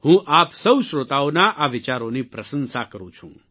હું આપ સૌ શ્રોતાઓના આ વિચારોની પ્રશંશા કરું છું